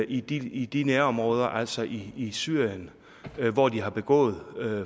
i de i de nærområder altså i syrien hvor de har begået